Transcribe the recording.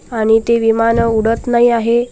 आणि ते विमानं उडत नाही आहे.